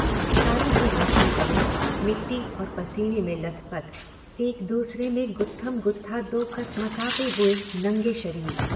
तारों की रोशनी तले मिट्टी और पसीने में लथपथ, एक दूसरे में गुत्थमगुत्था दो कसमसाते हुए नंगे शरीर।